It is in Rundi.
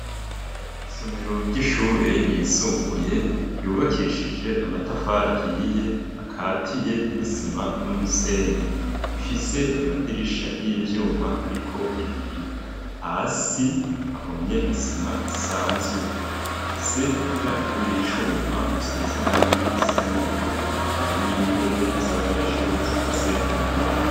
Isomero ry'ishure ryisumbuye, ryubakishije amatafari ahiye akatiye n'isima n'umusenyi, ifise amadirisha y'ivyuma ariko ibiyo; hasi hahomye isima isanzwe, ifise umuryango w'icuma usize irangi risa n'ubururu, harimwo intebe z'abanyeshuri zikoze mu mbaho.